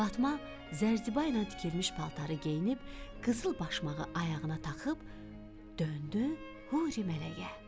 Fatma Zərziba ilə tikilmiş paltarı geyinib, qızıl başmağı ayağına taxıb, döndü Huri mələyə.